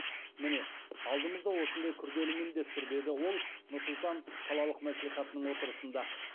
міне алдымызда осындай күрделі міндет тұр деді ол нұр сұлтан қалалық мәслихатының отырысында